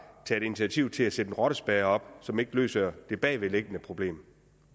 taget initiativ til at sætte en rottespærre op som ikke løser det bagvedliggende problem